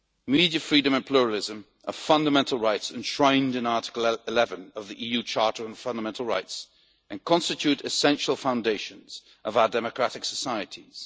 Media freedom and pluralism are fundamental rights enshrined in Article 11 of the EU Charter on Fundamental Rights and constitute essential foundations of our democratic societies.